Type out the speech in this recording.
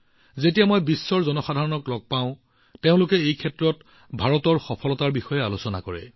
যেতিয়া মই সমগ্ৰ বিশ্বৰ লোকসকলক লগ পাওঁ তেওঁলোকে নিশ্চিতভাৱে এই ক্ষেত্ৰত ভাৰতৰ অভূতপূৰ্ব সফলতাৰ বিষয়ে কয়